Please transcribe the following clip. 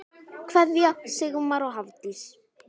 Kveðja, Sigmar og Hafdís.